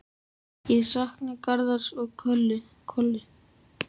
Ég sakna Garðars og Köllu.